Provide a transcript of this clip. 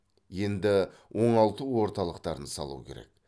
енді оңалту орталықтарын салу керек